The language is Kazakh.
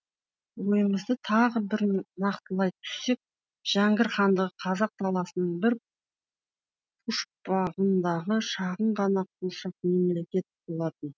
ойымызды тағы бір нақтылай түссек жәңгір хандығы қазақ даласының бір пұшпағындағы шағын ғана қуыршақ мемлекет болатын